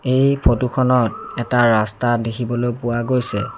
এই ফটোখনত এটা ৰাস্তা দেখিবলৈ পোৱা গৈছে।